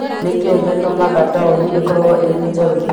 nĩ kĩĩ gĩtũmaga taũni ĩkorũo ĩrĩ njerũ?